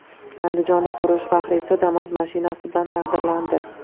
Andijonlik urush faxriysi Damas mashinasi bilan taqdirlandi.